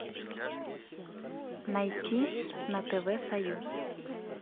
найти на тв союз